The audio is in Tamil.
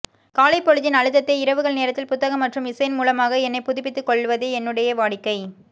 காலைபொழுதின் அழுதத்தை இரவுகள் நேரத்தில் புத்தகம் மற்றும் இசையின் மூலமாக என்னை புதுப்பித்து கொள்ளவதே என்னுடைய வாடிக்கை